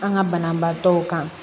An ka banabaatɔw kan